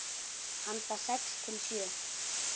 Handa sex til sjö